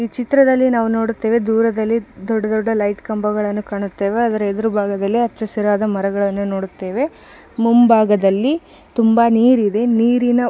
ಈ ಚಿತ್ರದಲ್ಲಿ ನಾವು ನೋಡುತ್ತೇವೆ ದೂರದಲ್ಲಿ ದೊಡ್ಡ ದೊಡ್ಡ ಲೈಟ್ ಕಂಬಗಳನ್ನು ಕಾಣುತ್ತೇವೆ ಅದರ ಹೆದುರು ಭಾಗದಲ್ಲಿ ಹೆಚ್ಚಾ ಹಸಿರು ಮರಗಳನ್ನು ನೋಡುತ್ತೇವೆ ಮುಂಭಾಗದಲ್ಲಿ ತುಂಬಾ ನೀರಿದೆ ನೀರಿನ